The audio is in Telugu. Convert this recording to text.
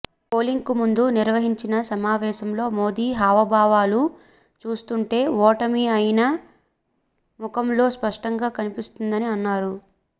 పోలింగ్కు ముందు నిర్వహించిన సమావేశంలో మోదీ హావభావాలు చూస్తుంటే ఓటమి ఆయన ముఖంలో స్పష్టంగా కనిపిస్తోందని అన్నారు